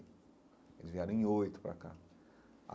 Eles vieram em oito para cá